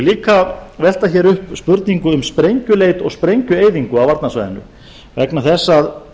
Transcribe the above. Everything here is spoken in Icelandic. líka velta upp spurningu um sprengjuleit og spengjueyðingu á varnarsvæðinu vegna þess að